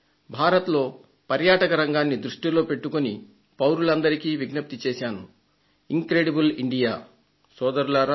భారతదేశంలో పర్యాటక రంగాన్ని దృష్టిలో పెట్టుకుని పౌరులందరికీ విజ్ఞప్తి చేశాను ఇన్ క్రెడియబుల్ ఇండియా సోదరులారా